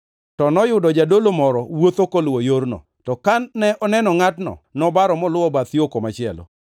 To noyudo jadolo moro wuotho koluwo, yorno, to kane oneno ngʼatno, nobaro moluwo bath yo komachielo.